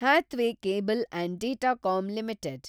Hathway Cable and Datacom limited